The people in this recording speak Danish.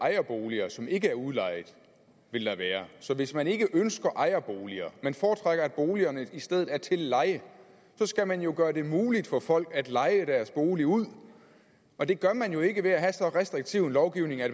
ejerboliger som ikke er udlejet vil der være så hvis man ikke ønsker ejerboliger men foretrækker at boligerne i stedet er til leje skal man jo gøre det muligt for folk at leje deres bolig ud og det gør man jo ikke ved at have så restriktiv en lovgivning at